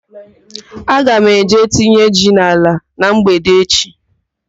Aga m eje tinye ji n'ala na mgbede echi.